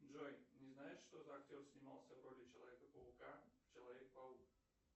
джой не знаешь что за актер снимался в роли человека паука в человек паук